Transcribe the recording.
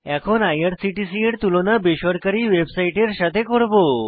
এখন আইআরসিটিসি এর তুলনা বেসরকারী ওয়েবসাইটের সাথে করব